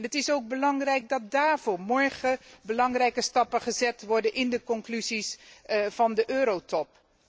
Het is ook belangrijk dat daarvoor morgen belangrijke stappen gezet worden in de conclusies van de Eurotop.